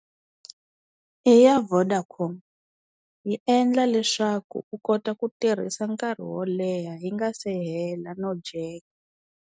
I ya Vodacom yi endla leswaku u kota ku tirhisa nkarhi wo leha yi nga se hela no dyeka.